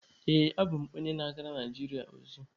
Ee, abụ m onye na-agara Naijiria ozi.